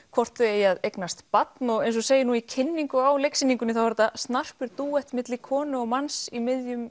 hvort þau eigi að eignast barn eins og segir í kynningu á leiksýningunni þá er þetta snarpur dúett milli konu og manns í miðjum